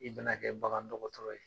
I bɛ na kɛ bagan dɔgɔtɔrɔ ye.